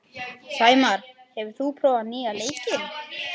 Sæmar, hefur þú prófað nýja leikinn?